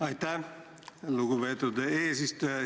Aitäh, lugupeetud eesistuja!